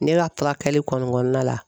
Ne ka tila kali kɔni kɔnɔna la.